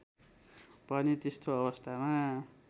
भने त्यस्तो अवस्थामा